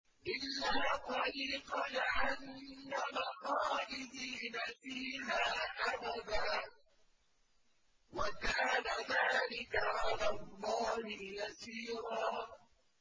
إِلَّا طَرِيقَ جَهَنَّمَ خَالِدِينَ فِيهَا أَبَدًا ۚ وَكَانَ ذَٰلِكَ عَلَى اللَّهِ يَسِيرًا